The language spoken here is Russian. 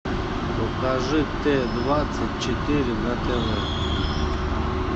покажи т двадцать четыре на тв